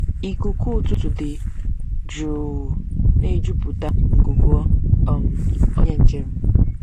Ikuku ụtụtụ dị jụụ na-ejupụta ngụgụ um onye njem.